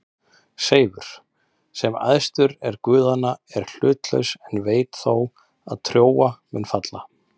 Seifur, sem æðstur er guðanna, er hlutlaus en veit þó að Trója mun falla.